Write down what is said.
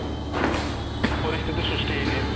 ପରିସ୍ଥିତି ସୃଷ୍ଟି ହେଇଛି